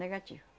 Negativo.